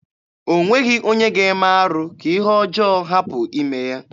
O nweghị onye ga-eme arụ ka ihe ọjọọ hapụ ime ya.